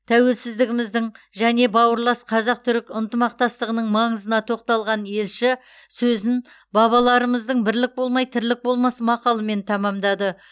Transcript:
тәуелсіздігіміздің және бауырлас қазақ түрік ынтымақтастығының маңызына тоқталған елші сөзін бабаларымыздың бірлік болмай тірлік болмас мақалымен тәмамдады